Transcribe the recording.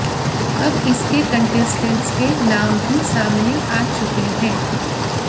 अब इसके कंटेस्टेंट्स के नाम भी सामने आ चुके हैं